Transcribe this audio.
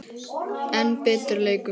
enn betri leikur.